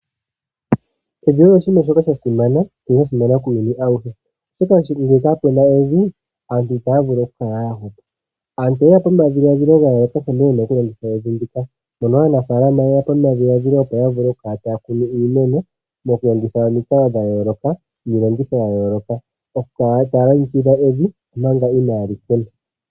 Evi olyi oshinima shoka sha simana ano sha simana muuyuni awuhe, uuna kaapuna evi aantu itaya vulu oku kala ya hupa. Aantu oye ya po nomadhiladhilo nkene ye na oku longitha evi ndika mono Aanafaalama ye ya po nomadhiladhilo goku kala taya kunu iimeno moku longitha omikalo dha yooloka niilongo tho ya yooloka oku kala taya longekidha evi manga inaaya kuna.